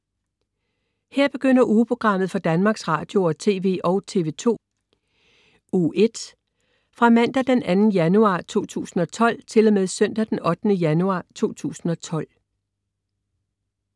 Her begynder ugeprogrammet for Danmarks Radio- og TV og TV2 Uge 45 Fra Mandag den 2. januar 2012 Til Søndag den 8. januar 2012